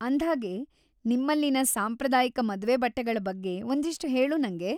ಅಂದ್ಹಾಗೆ, ನಿಮ್ಮಲ್ಲಿನ ಸಾಂಪ್ರದಾಯಿಕ ಮದ್ವೆ ಬಟ್ಟೆಗಳ ಬಗ್ಗೆ ಒಂದಿಷ್ಟು ಹೇಳು ನಂಗೆ.